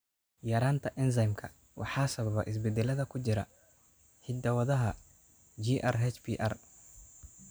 Yaraantan enzymka waxaa sababa isbeddellada ku jira hidda-wadaha GRHPR.